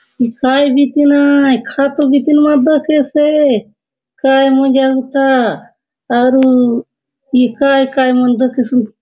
ए काय बीतीन आय खातो बितीन मा दखेसे काय मजा उता आरू ही काय काय मा --